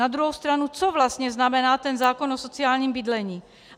Na druhou stranu - co vlastně znamená ten zákon o sociálním bydlení?